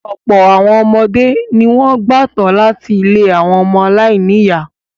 Ọ̀pọ̀ àwọn ọmọdé ni wọ́n gbà tọ́ láti ilé àwọn ọmọ aláìníìyá.